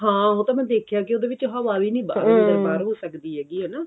ਹਾਂ ਉਹ ਤਾਂ ਮੈਂ ਵੇਖਿਆ ਕੀ ਉਹਦੇ ਵਿੱਚ ਹਵਾ ਵੀ ਨੀ ਬਾਹਰ ਹੋ ਸਕਦੀ ਹੈਗੀ ਹਨਾ